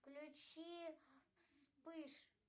включи вспыш